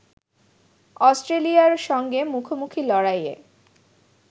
অস্ট্রেলিয়ার সঙ্গে মুখোমুখি লড়াইয়ে